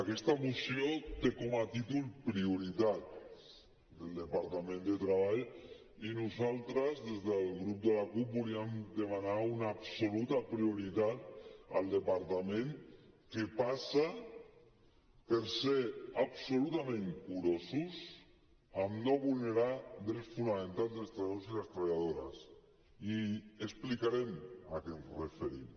aquesta moció té com a títol prioritats del departament de treball i nosaltres des del grup de la cup volíem demanar una absoluta prioritat al departament que passa per ser absolutament curosos amb no vulnerar drets fonamentals dels treballadors i les treballadores i explicarem a què ens referim